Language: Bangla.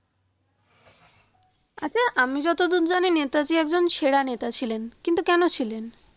আচ্ছা আমি যতদূর জানি নেতাজি একজন সেরা নেতা ছিলেন কিন্তু কেনো ছিলেন?